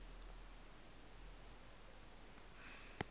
me m r